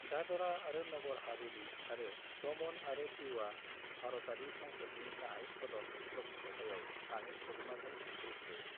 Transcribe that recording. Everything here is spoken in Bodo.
दादरा आरो नगर हावेली आरो दमन आरो दीउआ भारतारि संसदनि गाहाय सदन ल'क सभायाव सानै सोद्रोमाफोर दैथायहरो।